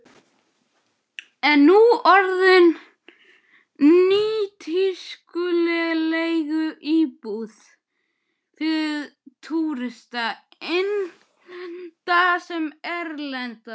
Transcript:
Nú orðinn nýtískuleg leiguíbúð fyrir túrista, innlenda sem erlenda.